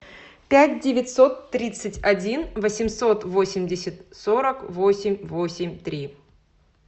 пять девятьсот тридцать один восемьсот восемьдесят сорок восемь восемь три